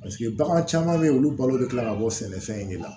bagan caman bɛ yen olu balo bɛ tila ka bɔ sɛnɛfɛn de la